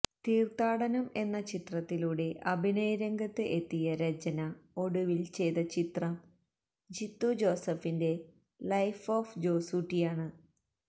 തീര്ത്ഥാടനം എന്ന ചിത്രത്തിലൂടെ അഭിനയരംഗത്ത് എത്തിയ രചന ഒടുവില് ചെയ്ത ചിത്രം ജീത്തു ജോസഫിന്റെ ലൈഫ് ഓഫ് ജോസൂട്ടിയാണ്